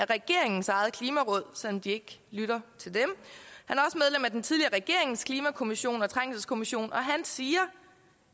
regeringens eget klimaråd selv om de ikke lytter til dem og den tidligere regerings klimakommission og trængselskommission siger